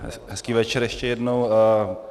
Hezký večer ještě jednou.